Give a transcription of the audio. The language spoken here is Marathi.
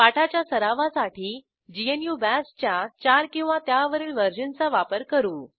पाठाच्या सरावासाठी ग्नू बाश च्या 4 किंवा त्यावरील वर्जनचा वापर करू